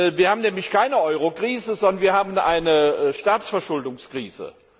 Wir haben nämlich keine Eurokrise, sondern wir haben eine Staatsverschuldungskrise.